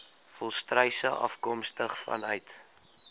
volstruise afkomstig vanuit